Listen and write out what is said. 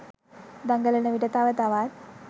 දඟලන විට තව තවත්